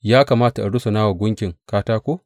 Ya kamata in rusuna wa guntun katako?